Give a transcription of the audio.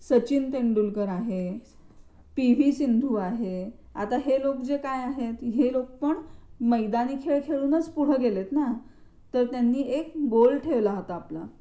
सचिन तेंडुलकर आहे पी व्ही सिंधू आहे आता हे जे लोक जे काय आहेत हे लोक पण मैदानी खेळ खेळून पुढे गेलेत ना? तर त्यांनी एक गोल ठेवला होता आपला.